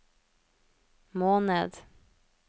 måned